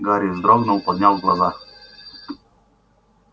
гарри вздрогнул поднял глаза